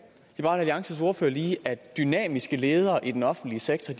alliances ordfører lige at dynamiske ledere i den offentlige sektor